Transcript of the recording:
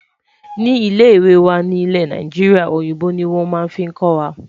Ní ilè ìwé wà nì ilé Naijiria, òyìnbó ní wọn fí kò wà.